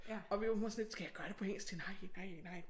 Og min mor hun var sådan lidt skal jeg gøre det på engelsk jeg tænkte nej nej nej